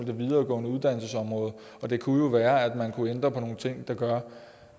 det videregående uddannelsesområde det kunne jo være at man kunne ændre på nogle ting der gør